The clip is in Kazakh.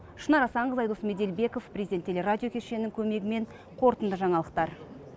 шынар асанқызы айдос меделбеков президент телерадио кешенінің көмегімен қорытынды жаңалықтар